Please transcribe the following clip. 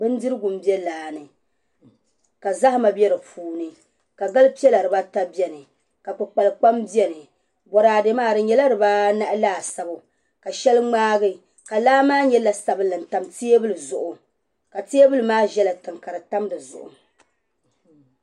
Bindirigu m-be laa ni ka zahima be di puuni ka gal' piɛla dibaata beni ka kpukpalikpaam beni. Bɔraade maa di nyɛla dibaanahi laasabu ka shɛli ŋmaagi ka laa maa nyɛ la' sabilinli n-tam teebuli zuɣu ka teebuli maa zala tiŋa ka ti tam di zuɣu.